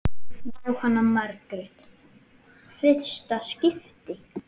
Jóhanna Margrét: Fyrsta skipti?